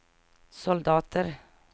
soldater